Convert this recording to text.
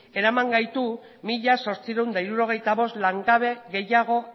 eraman gaitu mila zortziehun eta hirurogeita bost langabe gehiago